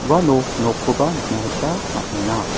uano nokkoba nikna gita man·enga.